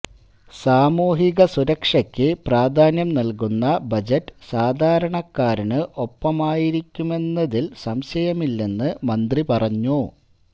സാമൂഹിക സുരക്ഷക്ക് പ്രാധാന്യം നല്കുന്ന ബജറ്റ് സാധാരണക്കാരന് ഒപ്പമായിരിക്കുമെന്നതില് സംശയമില്ലെന്ന് മന്ത്രി പറഞ്ഞു